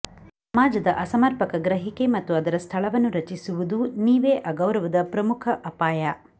ಸಮಾಜದ ಅಸಮರ್ಪಕ ಗ್ರಹಿಕೆ ಮತ್ತು ಅದರ ಸ್ಥಳವನ್ನು ರಚಿಸುವುದು ನೀವೇ ಅಗೌರವದ ಪ್ರಮುಖ ಅಪಾಯ